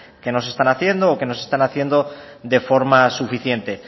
que no se están haciendo o que no se están haciendo de forma suficiente